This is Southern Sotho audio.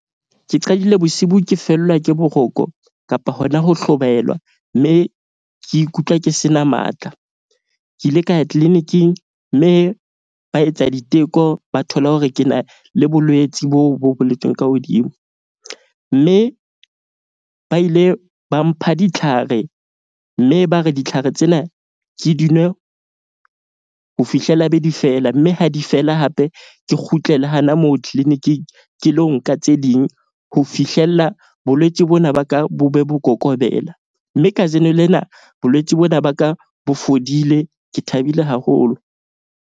Ke qadile bosibu ke fellwa ke boroko kapa hona ho hlobaelwa. Mme ke ikutlwa ke se na matla. Ke ile ka ya clinic-ing mme ba etsa diteko, ba thola hore ke na le bolwetsi boo bo boletsweng ka hodimo. Mme ba ile ba mpha ditlhare mme ba re ditlhare tsena ke di nwe ho fihlela be di feela. Mme ha di fela hape ke kgutlele hana moo clinic-ing. Ke lo nka tse ding ho fihlella bolwetse bona, ba ka bo be bo kokobela. Mme kajeno lena bolwetse bona ba ka bo fodile. Ke thabile haholo.